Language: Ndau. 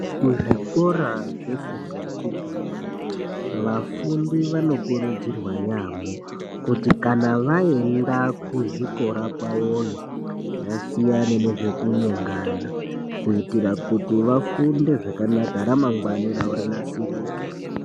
Ku zvikora zve fundo yechipiri vafundi vano kurudzirwa yamho kuti kana vaenda ku zvikora kwavoyo vasiyane nezveku nyengana ku itira kuti vafunde zvakanaka ra mangwani ravo rinasirike.